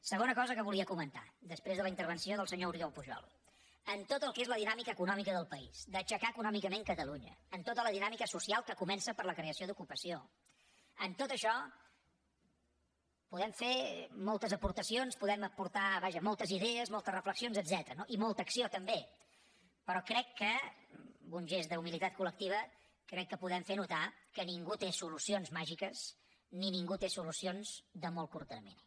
segona cosa que volia comentar després de la intervenció del senyor oriol pujol en tot el que és la dinàmica econòmica del país d’aixecar econòmicament catalunya en tota la dinàmica social que comença per la creació d’ocupació en tot això podem fer moltes aportacions podem aportar vaja moltes idees moltes reflexions etcètera i molta acció també però crec que en un gest d’humilitat col·lectiva podem fer notar que ningú té solucions màgiques ni ningú té solucions de molt curt termini